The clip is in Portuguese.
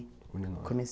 Comecei